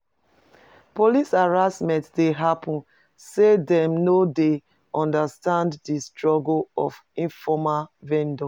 Police harassment dey happen, say dem no dey understand di struggle of informal vendors.